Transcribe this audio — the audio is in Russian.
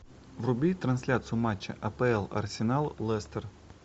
вруби трансляцию матча апл арсенал лестер